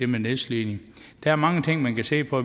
med nedslidning der er mange ting man kan se på